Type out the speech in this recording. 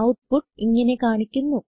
output ഇങ്ങനെ കാണിക്കുന്നു